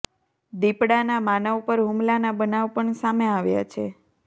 દીપડાના માનવ પર હુમલાના બનાવ પણ સામે આવ્યા છે